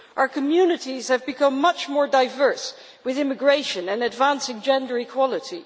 Our communities have become much more diverse with immigration and advancing gender equality.